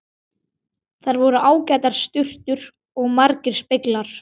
Þar voru ágætar sturtur og margir speglar!